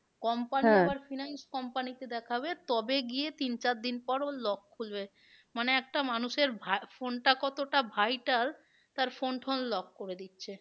Company finance company কে দেখাবে তবে গিয়ে তিন চারদিন পর ওর lock খুলবে মানে একটা মানুষের phone টা কতটা vital তার phone টোন lock করে দিচ্ছে